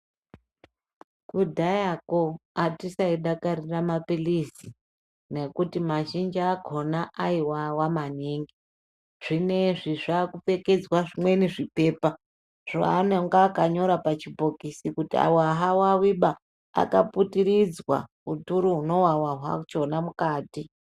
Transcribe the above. Kudhayako hatisai dakarira maphirizi nekuti mazhinji akona aivava maningi. Zvinoizvi zvakupfekedzwa zvimweni zvipepa zvoanonga akanyora pachibhokisi, kuti ava havaviba akaputiridzwa uturu hunovava hwachona mukati.